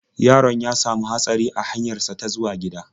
Yaron ya sami hatsari a hanyar sa ta zuwa gida.